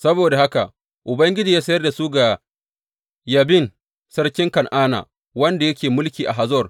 Saboda haka Ubangiji ya sayar da su ga Yabin sarkin Kan’ana wanda yake mulki a Hazor.